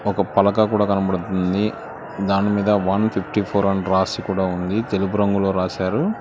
ఒక పలక కూడా కనపడుతుంది దాని మీద వన్ ఫిఫ్టీ ఫోర్ అని రాసి కూడా ఉంది తెలుపు రంగులో రాశారు.